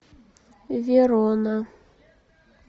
верона